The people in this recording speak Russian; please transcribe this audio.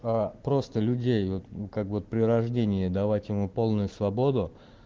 просто людей вот как вот при рождении давать ему полную свободу